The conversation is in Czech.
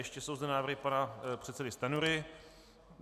Ještě jsou zde návrhy pana předsedy Stanjury.